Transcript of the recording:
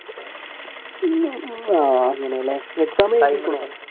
അങ്ങനെയല്ലേ exam